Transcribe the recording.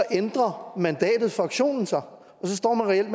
ændrer mandatet for aktionen sig og så står man reelt